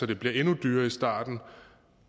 det bliver endnu dyrere i starten